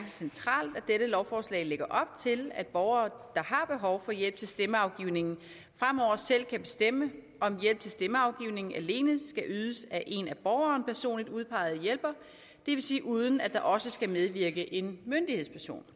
centralt at dette lovforslag lægger op til at borgere der har behov for hjælp til stemmeafgivningen fremover selv kan bestemme om hjælp til stemmeafgivning alene skal ydes af en af borgeren personligt udpeget hjælper det vil sige uden at der også skal medvirke en myndighedsperson